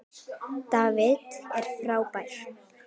David er frábær.